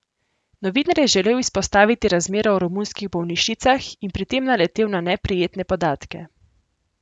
Novinar je želel izpostaviti razmere v romunskih bolnišnicah in pri tem naletel na neprijetne podatke.